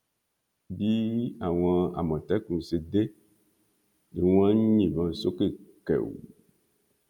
bí àwọn àmọtẹkùn ṣe dé ni wọn ń yìnbọn sókè kẹù